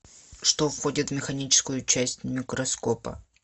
что входит в механическую часть микроскопа